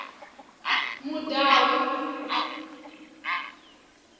mudau